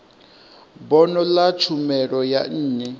bono ḽa tshumelo ya nnyi